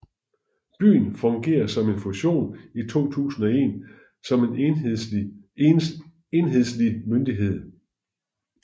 Byen fungerer efter en fusion i 2001 som en enhedslig myndighed